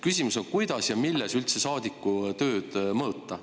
Küsimus on, kuidas ja milles üldse saadiku tööd mõõta.